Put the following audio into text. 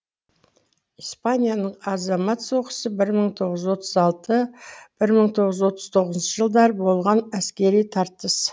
испанияның азамат соғысы бір мың тоғыз жүз отыз алты бір мың тоғыз жүз отыз тоғызыншы жылдар болған әскери тартыс